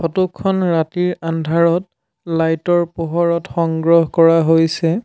Photo খন ৰাতিৰ আন্ধাৰত লাইট ৰ পোহৰত সংগ্ৰহ কৰা হৈছে।